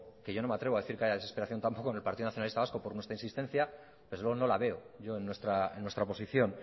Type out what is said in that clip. que yo no me atrevo a decir que haya desesperación tampoco en el partido nacionalista vasco por nuestra insistencia desde luego no la veo yo en nuestra posición